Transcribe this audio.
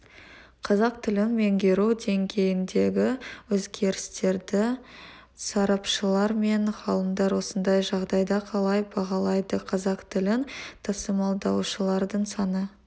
қазақ тілін меңгеру деңгейіндегі өзгерістерді сарапшылар мен ғалымдар осындай жағдайда қалай бағалайды қазақ тілін тасымалдаушылардың саны